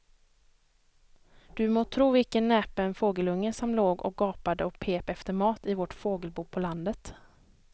Du må tro vilken näpen fågelunge som låg och gapade och pep efter mat i vårt fågelbo på landet.